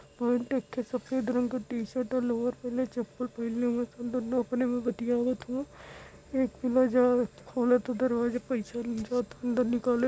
Pant एक ठे सफ़ेद रंग क टी शर्ट लोवर पहिनले चप्पल पहिनले हउवन स दुनू अपने में बतियावत हउवन। एक खोलता दरवाजा पइसा अंदर निकाले --